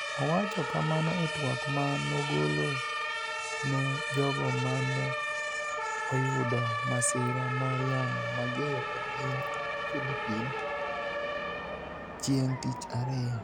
Owacho kamano e twak ma nogolo ni e jogo ma ni e oyudo masira mar yamo mager e piniy Philippini es chienig ' tich ariyo